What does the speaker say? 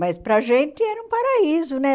Mas para a gente era um paraíso, né?